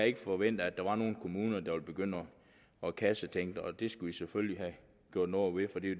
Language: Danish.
ikke forventet at der var nogle kommuner der ville begynde at kassetænke og det skulle vi selvfølgelig have gjort noget ved for det